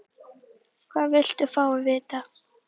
Hvað viltu fá að vita?